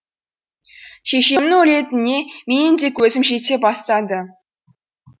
шешемнің өлетініне менің де көзім жете бастады